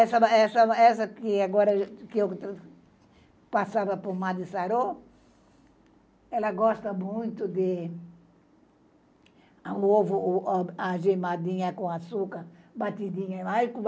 Essa, essa que agora eu passava pomada e sarou, ela gosta muito de ovo agemadinho com açúcar, batidinho.